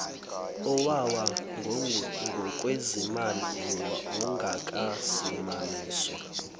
owawa ngokwezimali ongakasimamiswa